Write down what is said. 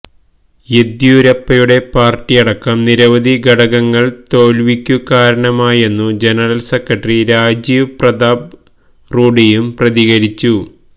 യെദ്യൂരപ്പയുടെ പാര്ട്ടിയടക്കം നിരവധി ഘടകങ്ങള് തോല്വിക്കു കാരണമായെന്നു ജനറല് സെക്രട്ടറി രാജീവ് പ്രതാപ് റൂഡിയും പ്രതികരിച്ചു